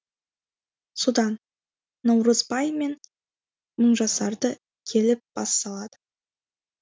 содан наурызбай мен мыңжасарды келіп бас салады